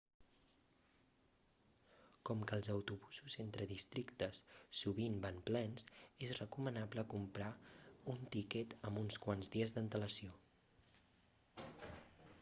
com que els autobusos entre districtes sovint van plens és recomanable comprar un tiquet amb uns quants dies d'antelació